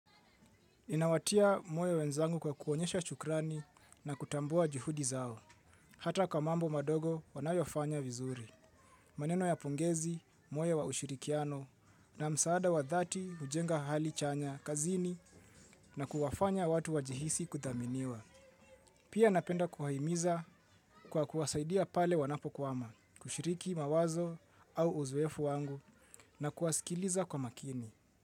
Ninawatia moyo wenzangu kwa kuonyesha shukrani na kutambua juhudi zao, hata kwa mambo madogo wanayofanya vizuri. Maneno ya pongezi, moyo wa ushirikiano na msaada wa dhati ujenga hali chanya kazini na kuwafanya watu wajihisi kudhaminiwa. Pia napenda kuwahimiza kwa kuwasaidia pale wanapo kwama kushiriki mawazo au uzoefu wangu na kuwasikiliza kwa makini.